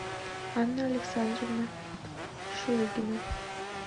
анна александровна шлыгина